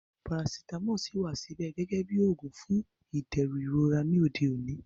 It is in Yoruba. Parasitamọ ṣíì wà síbẹ̀ gẹ́gẹ́ bí oògùn fún ìdẹ̀rùn ìrora ní òde òní